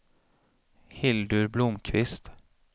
Hildur Blomkvist